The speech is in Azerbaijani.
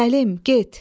Səlim, get!